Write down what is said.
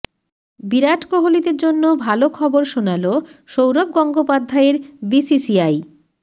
বিরাট কোহলিদের জন্য ভালো খবর শোনাল সৌরভ গঙ্গোপাধ্যায়ের বিসিসিআই